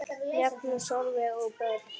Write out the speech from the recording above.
Magnús, Sólveig og börn.